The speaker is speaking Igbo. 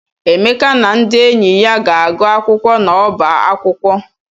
Emeka na ndị enyi ya ga-agụ akwụkwọ n'ọba akwụkwọ.